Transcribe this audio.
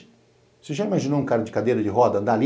Você já imaginou um cara de cadeira de roda andar ali?